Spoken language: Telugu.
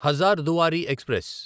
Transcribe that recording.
హజార్దుఆరి ఎక్స్ప్రెస్